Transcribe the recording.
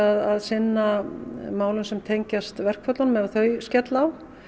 að sinna málum sem tengjast verkföllunum ef þau skella á